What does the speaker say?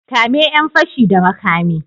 Kame yan fashi da makami.